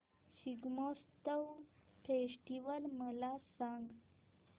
Shigmotsav festival मला सांग